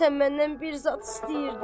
Deyəsən məndən bir zad istəyirdi.